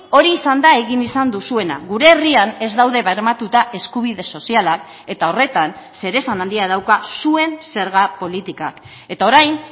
hori izan da egin izan duzuena gure herrian ez daude bermatuta eskubide sozialak eta horretan zeresan handia dauka zuen zerga politikak eta orain